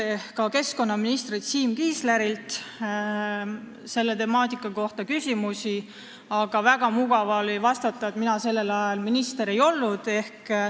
Oleme ka keskkonnaminister Siim Kiislerilt selle temaatika kohta küsinud, aga tal oli väga mugav vastata, et mina sellel ajal minister ei olnud.